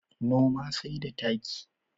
Noma sai da taki.